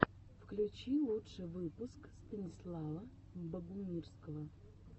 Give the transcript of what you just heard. включи лучший выпуск станислава богумирского